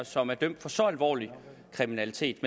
som er dømt for så alvorlig kriminalitet